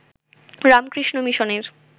রামকৃষ্ণ মিশনের